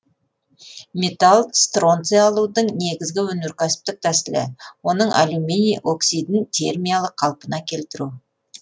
металл стронций алудың негізгі өнеркәсіптік тәсілі оның алюминий оксидін термиялық қалпына келтіру